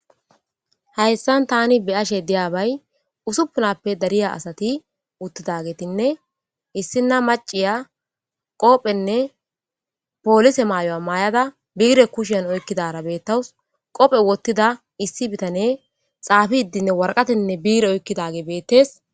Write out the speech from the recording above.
hayssan tani biyashe diyabay usupunappe dariya asati uttidagetinne issi na maciya qoophenne poolise maayoya maay7ada biire kushan oykkidara beettawus qophe wottida issi bitane xaafi iddinne warqatenne biire oykkidage beettees